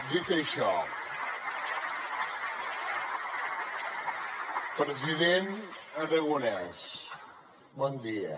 dit això president aragonès bon dia